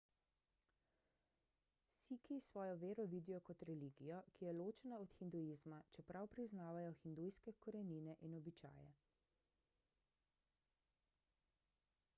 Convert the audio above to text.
sikhi svojo vero vidijo kot religijo ki je ločena od hinduizma čeprav priznavajo hindujske korenine in običaje